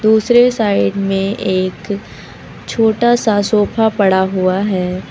दूसरे साइड में एक छोटा सा सोफा पड़ा हुआ है।